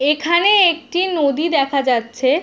এখানে একটি নদী দেখা যাচ্ছে।